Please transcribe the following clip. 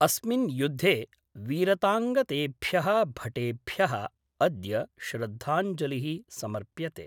अस्मिन् युद्धे वीरताङ्गतेभ्य: भटेभ्य: अद्य श्रद्धांजलि: समर्प्यते।